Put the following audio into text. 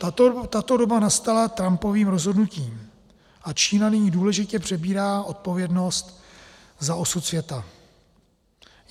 Tato doba nastala Trumpovým rozhodnutím a Čína nyní důležitě přebírá odpovědnost za osud světa.